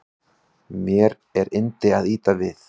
Mér er yndi að ýta við